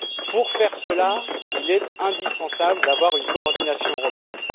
Pour ce faire, il est indispensable d'avoir une coordination européenne.